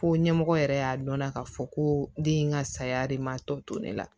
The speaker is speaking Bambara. Ko ɲɛmɔgɔ yɛrɛ y'a dɔn na k'a fɔ ko den in ka saya de ma tɔ to ne la